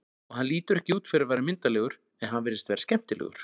Og hann lítur ekki út fyrir að vera myndarlegur en hann virðist vera skemmtilegur.